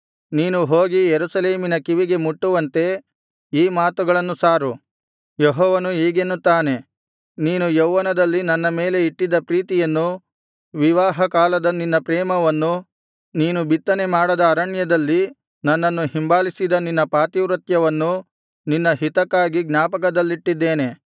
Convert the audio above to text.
ನೀನು ಹೋಗಿ ಯೆರೂಸಲೇಮಿನ ಕಿವಿಗೆ ಮುಟ್ಟುವಂತೆ ಈ ಮಾತುಗಳನ್ನು ಸಾರು ಯೆಹೋವನು ಹೀಗೆನ್ನುತ್ತಾನೆ ನೀನು ಯೌವನದಲ್ಲಿ ನನ್ನ ಮೇಲೆ ಇಟ್ಟಿದ್ದ ಪ್ರೀತಿಯನ್ನೂ ವಿವಾಹಕಾಲದ ನಿನ್ನ ಪ್ರೇಮವನ್ನೂ ನೀನು ಬಿತ್ತನೆ ಮಾಡದ ಅರಣ್ಯದಲ್ಲಿ ನನ್ನನ್ನು ಹಿಂಬಾಲಿಸಿದ ನಿನ್ನ ಪಾತಿವ್ರತ್ಯವನ್ನೂ ನಿನ್ನ ಹಿತಕ್ಕಾಗಿ ಜ್ಞಾಪಕದಲ್ಲಿಟ್ಟಿದ್ದೇನೆ